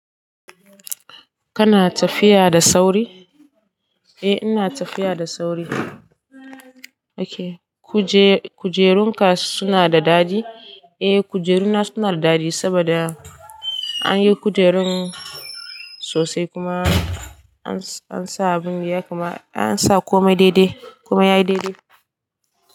Kana tafiya da sauri? Eh ina tafiya da sauri. Ok kujerun ka suna da daɗi? Eh kujeru na suna da daɗi saboda an yi kujerun sosai kuma an sa abin ya kuma an sa komai daidai komai ya yi daidai.